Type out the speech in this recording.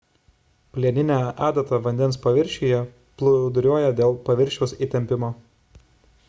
plieninė adata vandens paviršiuje plūduriuoja dėl paviršiaus įtempio